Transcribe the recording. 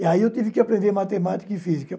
E aí eu tive que aprender matemática e física.